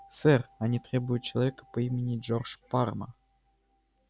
сэр они требуют человека по имени джордж парма